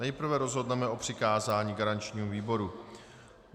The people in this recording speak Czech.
Nejprve rozhodneme o přikázání garančnímu výboru.